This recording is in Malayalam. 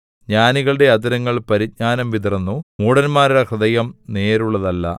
ജ്ഞാനികളുടെ അധരങ്ങൾ പരിജ്ഞാനം വിതറുന്നു മൂഢന്മാരുടെ ഹൃദയം നേരുള്ളതല്ല